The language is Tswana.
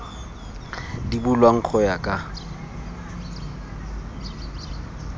di bulwang go ya ka